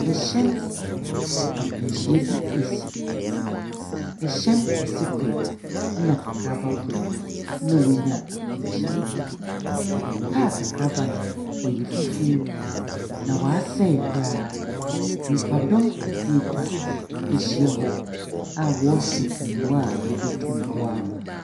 Hyɛn akwanhyia bi esi. Hyɛn kɛse kor, na kakraba kor na wɔanya akwanhyia yi. Kaa kakraba no ɔyɛ fufuo, na asɛe koraa. Nnipadɔm kakra atwa ehyia hɔ a wɔrehwɛ mmoa wɔbotum waɔama.